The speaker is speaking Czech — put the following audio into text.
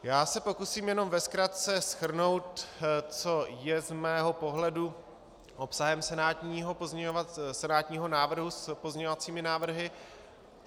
Já se pokusím jenom ve zkratce shrnout, co je z mého pohledu obsahem senátního návrhu s pozměňovacími návrhy.